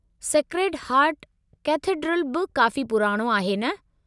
Sacred heart cathedral बि काफ़ी पुराणो आहे न?